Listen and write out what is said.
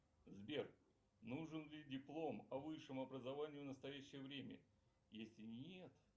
сбер нужен ли диплом о высшем образовании в настоящее время если нет